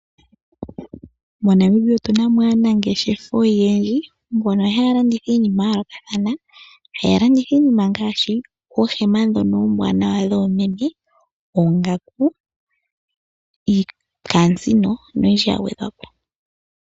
MoNamibia otuna mo aanangeshefa oyendji mbono haya landitha iinima yayoolokothana. Haya landitha iinima ngaashi oohema ndhono oombwanawa dhoomeme, oongaku, iikamusino noyindji ya gwedhwapo.